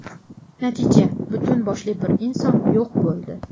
Natija butun boshli bir inson yo‘q bo‘ldi.